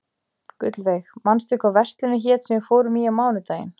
Gullveig, manstu hvað verslunin hét sem við fórum í á mánudaginn?